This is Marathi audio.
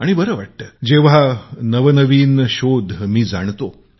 आणि बर वाटत जेंव्हा नवनवीन प्रयोग जाणतो